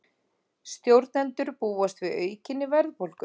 Stjórnendur búast við aukinni verðbólgu